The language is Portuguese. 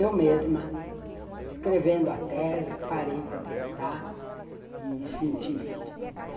Eu mesma, escrevendo a tese, parei para pensar e sentir isto.